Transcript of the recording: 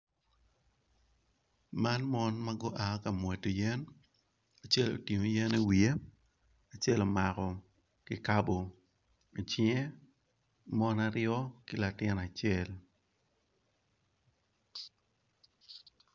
Ma mon magu aa kamwodo yen acel otingo yen i wiye acel omako kikabo icinge mon aryo ki latin acel.